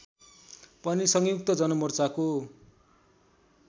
पनि संयुक्त जनमोर्चाको